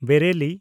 Bareilly